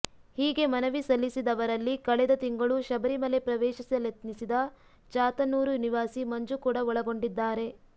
ಹೀಗೆ ಮನವಿ ಸಲ್ಲಿಸಿದವರಲ್ಲಿ ಕಳೆದ ತಿಂಗಳು ಶಬರಿಮಲೆ ಪ್ರವೇಶಿಸಲೆತ್ನಿಸಿದ ಚಾತನ್ನೂರು ನಿವಾಸಿ ಮಂಜು ಕೂಡಾ ಒಳಗೊಂಡಿದ್ದಾರೆ